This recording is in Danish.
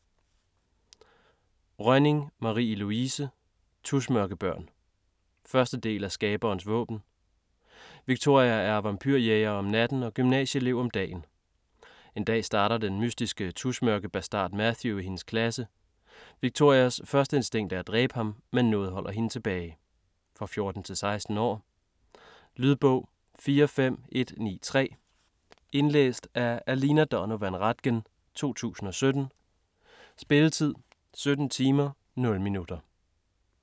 Rønning, Marie-Louise: Tusmørkebørn 1. del af Skaberens våben. Victoria er vampyrjæger om natten og gymnasieelev om dagen. En dag starter den mystiske tusmørkebastard Matthew i hendes klasse. Victorias første instinkt er at dræbe ham, men noget holder hende tilbage. For 14-16 år. Lydbog 45193 Indlæst af Alina Donovan Ratgen, 2017. Spilletid: 17 timer, 0 minutter.